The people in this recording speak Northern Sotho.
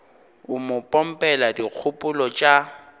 o mo pompela dikgopolo tša